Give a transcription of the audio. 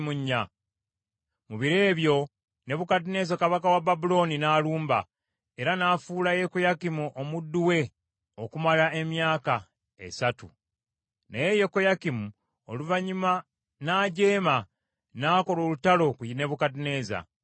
Mu biro ebyo, Nebukadduneeza kabaka w’e Babulooni n’alumba, era n’afuula Yekoyakimu omuddu we okumala emyaka esatu. Naye Yekoyakimu oluvannyuma n’ajeema, n’akola olutalo ku Nebukadduneeza.